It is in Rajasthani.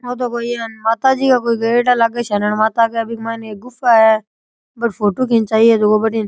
ओ तो कोई माता जी के गयेडा लागे माता के बीके मायने एक गुफा है फोटो खिचाई है भटीन।